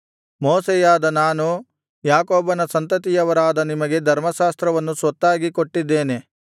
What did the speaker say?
ಮೋಶೆಯಾದ ನಾನು ಯಾಕೋಬನ ಸಂತತಿಯವರಾದ ನಿಮಗೆ ಧರ್ಮಶಾಸ್ತ್ರವನ್ನು ಸ್ವತ್ತಾಗಿ ಕೊಟ್ಟಿದ್ದೇನೆ